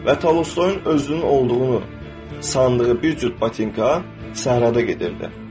Və Tolstoyun özünün olduğunu sandığı bir cüt batinka səhrada gəzirdi.